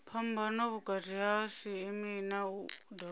phambano vhukati ha cma na wua